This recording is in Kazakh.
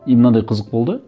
и мынандай қызық болды